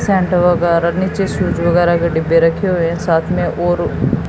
Saint वगैरा नीचे switch वगैरा के डिब्बे रखें हुए हैं साथ में और--